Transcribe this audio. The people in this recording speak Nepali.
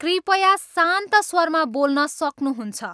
कृपया शान्त स्वरमा बोल्न सक्नुहुन्छ